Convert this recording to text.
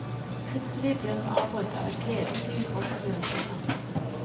Plutselig blir hun avbrutt av et gledeshyl fra smørkinna.